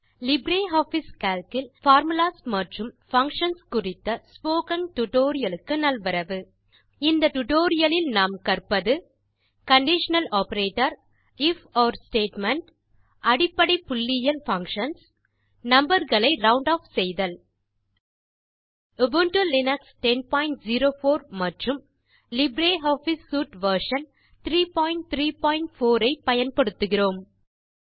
LibreOffice Calc இல் formulas மற்றும் functions குறித்த ஸ்போக்கன் டியூட்டோரியல் க்கு நல்வரவு இந்த டியூட்டோரியல் லில் நாம் கற்பது கண்டிஷனல் ஆப்பரேட்டர் ifஒர் ஸ்டேட்மெண்ட் அடிப்படை புள்ளியியல் பங்ஷன்ஸ் நம்பர் களை ரவுண்ட் ஆஃப் செய்தல் உபுண்டு லினக்ஸ் 1004 மற்றும் லிப்ரியாஃபிஸ் சூட் வெர்ஷன் 334 ஐ பயன்படுத்துகிறோம்